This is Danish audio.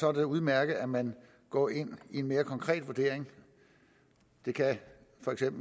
er det udmærket at man går ind i en mere konkret vurdering det kan